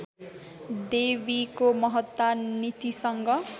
देवीको महत्ता नीतिसँग